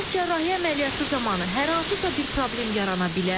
Bəs cərrahiyyə əməliyyatı zamanı hər hansısa bir problem yarana bilər?